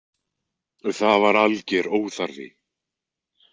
Það var alger óþarfi.